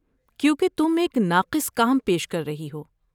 کیونکہ تم ایک ناقص کام پیش کر رہی ہو۔